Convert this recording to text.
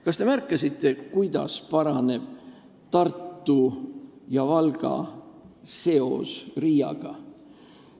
Kas te kuulsite, kuidas paraneb Tartu ja Valga seos Riiaga?